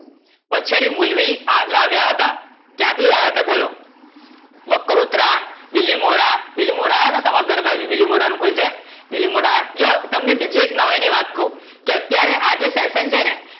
વછેરી મૂલવી આ લાવ્યા હતા. કયાં થી લાવ્યા હતા? બોલો, બાકરોત્રા, બીલીમોરા, બીલીમોરા આવ્યા હતા તમારા ઘર બાજુ, બીલીમોરા નું કોઈ છે? બીલીમોરા, જો તમને બીજી નવાય ની વાત ક્વ કે અત્યારે આ જે session છે ને